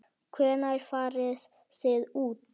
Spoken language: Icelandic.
Hvenær farið þið út?